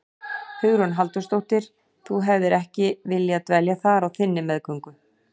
Hugrún Halldórsdóttir: Þú hefðir ekki viljað dvelja þar á þinni meðgöngu?